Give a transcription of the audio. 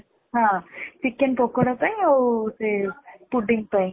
ହଁ chicken ପକୋଡା ପାଇଁ ଆଉ ସେ pudding ପାଇଁ